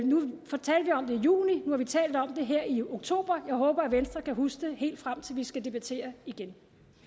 juni nu har vi talt om det her i oktober og jeg håber venstre kan huske det helt frem til vi skal debattere igen